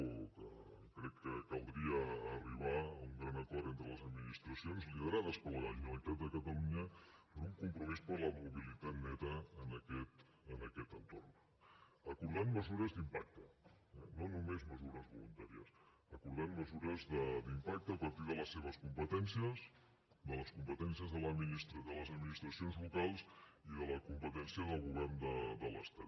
o que crec que caldria arribar a un gran acord entre les administracions liderades per la generalitat de catalunya per un compromís per la mobilitat neta en aquest entorn acordant mesures d’impacte no només mesures voluntàries acordant mesures d’impacte a partir de les seves competències de les competències de les administracions locals i de la competència del govern de l’estat